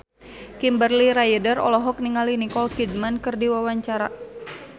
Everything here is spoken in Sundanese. Kimberly Ryder olohok ningali Nicole Kidman keur diwawancara